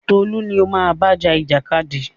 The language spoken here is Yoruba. Tolú ni o máa bá ja ìjàkadì!